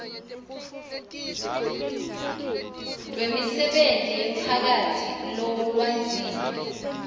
lwemisebenti yemphakatsi lolwandzile